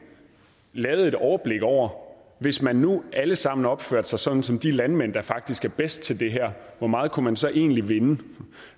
lavede et overblik over hvis man nu alle sammen opførte sig sådan som de landmænd der faktisk er bedst til det her hvor meget kunne man så egentlig vinde